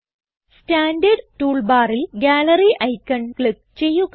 standard tool ബാറിൽ gallery icon click ചെയ്യുക